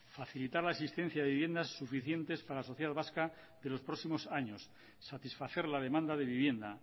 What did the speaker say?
facilitar la existencia de viviendas suficientes para la sociedad vasca de los próximos años satisfacer la demanda de vivienda